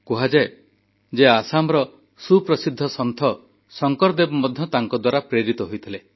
କୁହାଯାଏ ଯେ ଆସାମର ସୁପ୍ରସିଦ୍ଧ ସନ୍ଥ ଶଙ୍କରଦେବ ମଧ୍ୟ ତାଙ୍କ ଦ୍ୱାରା ଅନୁପ୍ରାଣିତ ହୋଇଥିଲେ